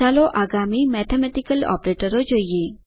ચાલો આગામી મેથેમેટિકલ ઓપરેટરો જોઈએ